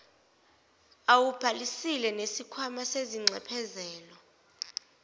awubhalisile nesikhwama sezinxephezelo